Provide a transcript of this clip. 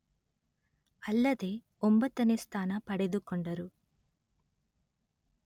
ಅಲ್ಲದೇ ಒಂಬತ್ತನೇ ಸ್ಥಾನ ಪಡೆದುಕೊಂಡರು